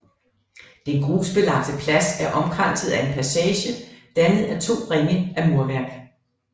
Den grusbelagte plads er omkranset af en passage dannet af to ringe af murværk